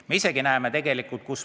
Me ise näeme neid ka.